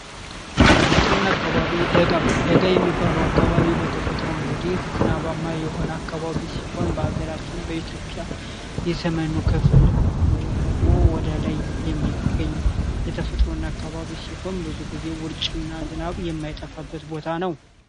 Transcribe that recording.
ተፈጥሮና አካባቢ ደጋ የሚባለው እንግዲህ በተፈጥሮ ዝናብ ማከባቢ አካባቢ ሲሆን ሀገራችን በኢትዮጵያ የሰሜኑ ክፍል ወይም ደግሞ ወደላይ የሚገኝ ሲሆን ብዙ ጊዜ ውርጭና ዝናብ የማይጠፋበት ቦታ ነው።